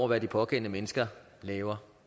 hvad de pågældende mennesker laver